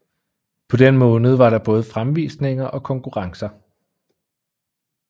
På den måned var der både fremvisninger og konkurrencer